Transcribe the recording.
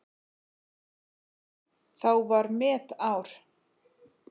Þá var metár.